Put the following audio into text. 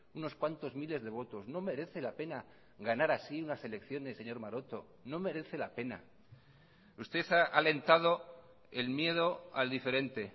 unos cuantos miles de votos no merece la pena ganar así unas elecciones señor maroto no merece la pena usted ha alentado el miedo al diferente